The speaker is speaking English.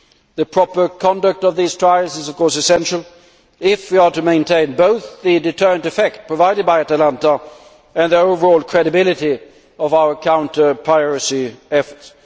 The proper conduct of these trials is, of course, essential if we are to maintain both the deterrent effect provided by Atalanta and the overall credibility of our counter piracy efforts.